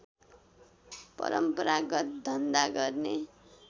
परम्परागत धन्धा गर्ने